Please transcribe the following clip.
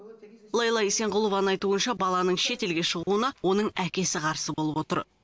лейла исенғұлованың айтуынша баланың шетелге шығуына оның әкесі қарсы болып отыр